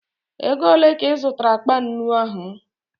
Ego ole ka ị zụtara akpa nnu ahụ?